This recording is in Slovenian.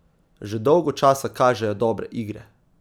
Že dolgo časa kažejo dobre igre.